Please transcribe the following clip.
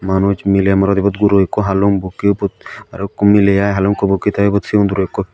manus mile morot ebot guro ekko haalung bukke ubot arokko mile ai haalung ekko bukke te ebot sigon guro ekko.